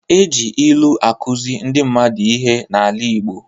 E ji ilu akuzi ndị mmadụ ihe n'ala igbo.